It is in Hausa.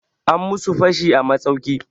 An musu fashi a masauki.